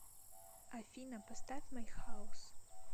афина поставь май хаус